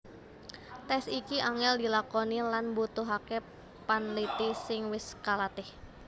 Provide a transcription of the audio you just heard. Tes iki angel dilakoni lan mbutuhake panliti sing wis kalatih